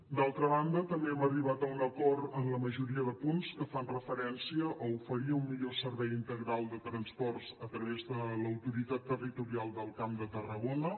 d’altra banda també hem arribat a un acord en la majoria de punts que fan referència a oferir un millor servei integral de transports a través de l’autoritat territorial del camp de tarragona